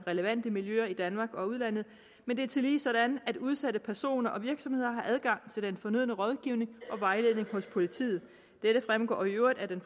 relevante miljøer i danmark og udlandet men det er tillige sådan at udsatte personer og virksomheder har adgang til den fornødne rådgivning og vejledning hos politiet dette fremgår i øvrigt af det